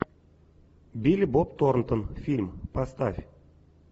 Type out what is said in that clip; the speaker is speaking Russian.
билли боб торнтон фильм поставь